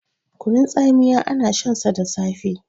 kunun tsamiya ana shansa da safe